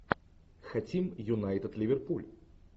хотим юнайтед ливерпуль